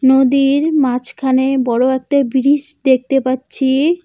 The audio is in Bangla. নদীর মাঝখানে বড় একটা বিরিজ দেখতে পাচ্ছি।